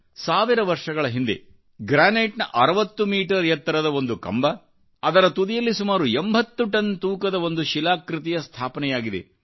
ಸಾವಿರ ವರ್ಷಗಳ ಹಿಂದೆ ಗ್ರಾನೈಟ್ನ 60 ಮೀಟರ್ ಎತ್ತರದ ಒಂದು ಕಂಬ ಹಾಗೂ ಅದರ ತುದಿಯಲ್ಲಿ ಸುಮಾರು 80 ಟನ್ ತೂಕದ ಒಂದುಶಿಲಾಕೃತಿಯ ಸ್ಥಾಪನೆಯಾಗಿದೆ